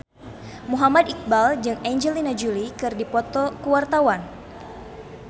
Muhammad Iqbal jeung Angelina Jolie keur dipoto ku wartawan